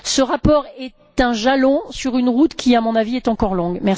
Ce rapport est un jalon sur une route qui, à mon avis, est encore longue.